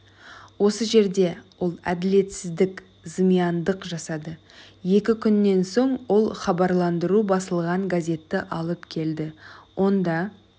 осы жерде ол әділетсіздік зымияндық жасады екі күннен соң ол хабарландыру басылған газетті алып келді онда